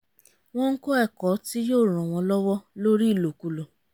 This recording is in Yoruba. wọ́n ń kó ẹ̀kọ́ tí yóò ran wọn lọwọ lórí ìlòkulò